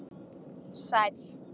Sæll